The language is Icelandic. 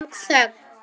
Það varð löng þögn.